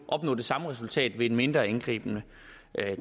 opnå det samme resultat ved et mindre indgribende